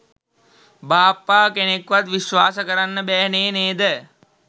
බාප්පා කෙනෙක්වත් විශ්වාස කරන්න බෑනේ නේද?